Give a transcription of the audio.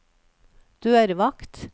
dørvakt